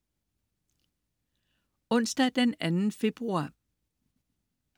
Onsdag den 2. februar